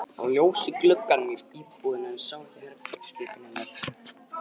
Það var ljós í gluggunum í íbúðinni en hann sá ekki herbergisgluggann hennar.